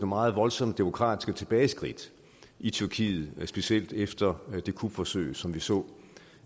meget voldsomme demokratiske tilbageskridt i tyrkiet specielt efter det kupforsøg som vi så